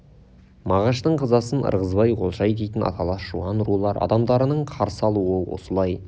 мағаштың қазасын ырғызбай олжай дейтін аталас жуан рулар адамдарының қарсы алуы осылай